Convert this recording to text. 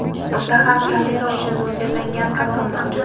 Unda ham kamera uchun mo‘ljallangan qirqim mavjud.